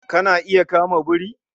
Kana iya kama biri?